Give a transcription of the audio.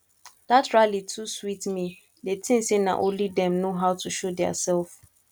dat rally too sweet me dey think say na only dem no how to show their self